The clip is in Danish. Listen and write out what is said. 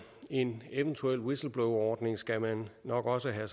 en eventuel whistleblowerordning skal man nok også have